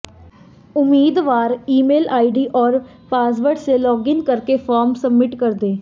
उम्मीदवार email ID और password से लॉगइन करके फॉर्म सब्मिट कर दें